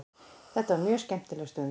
Þetta var mjög skemmtileg stund.